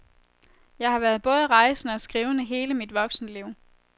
Jeg har været både rejsende og skrivende hele mit voksenliv.